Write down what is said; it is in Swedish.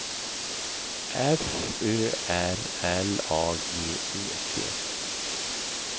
F Ö R L A G E T